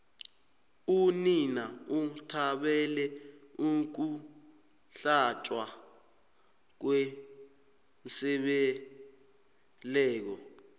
unina uthabele ukuhlatjwa kwembeleko